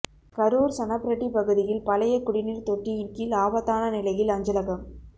கரூர் சணப்பிரட்டி பகுதியில் பழைய குடிநீர் தொட்டியின்கீழ் ஆபத்தான நிலையில் அஞ்சலகம்